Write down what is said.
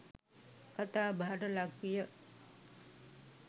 කතාබහට ලක් විය